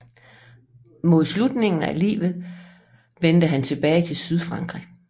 Mod slutningen af livet vendte han tilbage til Sydfrankrig